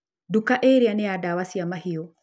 Nduka ĩrĩa nĩ ya ndawa cia mahiũ.